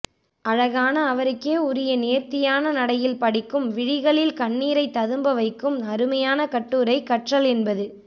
அழகான அவருக்கே உரிய நேர்த்தியான நடையில் படிக்கும் விழிகளில் கண்ணீரை ததும்ப வைக்கும் அருமையான கட்டுரை கற்றல் என்பது